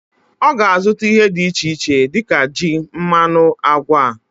Oga azuta ihe di iche ich dika ji, mmanu, agwa